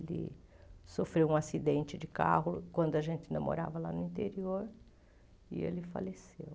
Ele sofreu um acidente de carro quando a gente ainda morava lá no interior e ele faleceu.